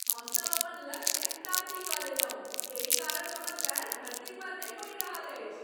हमसभ अपन लक्ष्य प्राप्ति कऽ लेलहुँ , एहि कारण हमर पैर धरती पर नहि पड़ि रहल अछि।